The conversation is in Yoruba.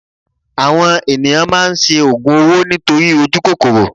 Àwọn ènìyàn máa ń ṣe ògùn owó nítorí ojú kòkòrò